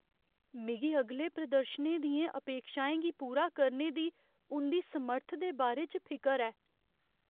मिगी अगले प्रदर्शनें दियें अपेक्षाएं गी पूरा करने दी उं'दी समर्थ दे बारे च फिकर ऐ।